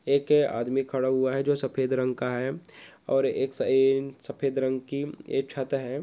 ऐके आदमी खड़ा हुआ है जो सफ़ेद रंग का है और एक साइन-सफ़ेद रंग की एक छत है।